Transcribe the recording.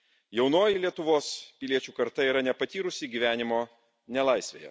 jaunoji Lietuvos piliečių karta yra nepatyrusi gyvenimo nelaisvėje.